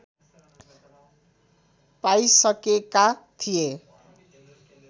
पाइसकेका थिए